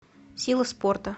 сила спорта